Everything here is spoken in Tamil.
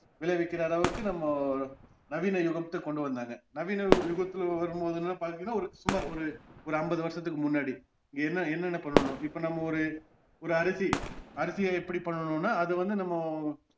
விளைவிக்கிற அளவுக்கு நம்ம நவீன யுகத்துக்கு கொண்டுவந்தாங்க நவீன யுகத்துல வரும்போதுலா பாத்திங்கன்னா ஒரு சுமார் ஒரு ஐம்பதுவருஷத்துக்கு முன்னாடி என்ன என்னென்ன பண்ணனும் இப்போ நம்ம ஒரு ஒரு அரிசி அரிசிய எப்படி பண்ணணுன்னா அது வந்து நம்ம